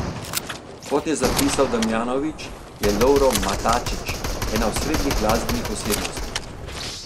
Kot je zapisal Damjanovič, je Lovro Matačić ena osrednjih glasbenih osebnosti.